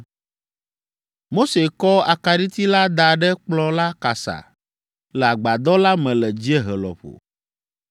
Mose kɔ akaɖiti la da ɖe kplɔ̃ la kasa le agbadɔ la me le dziehe lɔƒo.